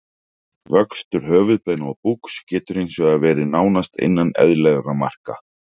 Vöxtur höfuðbeina og búks getur hins vegar verið nánast innan eðlilegra marka.